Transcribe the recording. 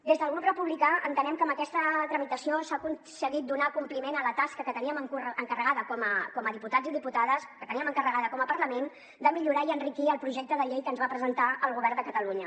des del grup republicà entenem que amb aquesta tramitació s’ha aconseguit donar compliment a la tasca que teníem encarregada com a diputats i diputades que teníem encarregada com a parlament de millorar i enriquir el projecte de llei que ens va presentar el govern de catalunya